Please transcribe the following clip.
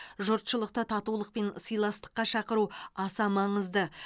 жұртшылықты татулық пен сыйластыққа шақыру аса маңызды